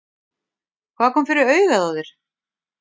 Hvað kom fyrir augað á þér?